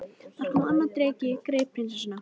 Þá kom annar dreki, greip prinsessuna